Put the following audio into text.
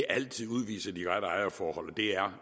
altid udviser de rette ejerforhold og det er